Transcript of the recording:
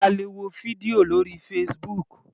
A lè wo fídíò lórí Facebook.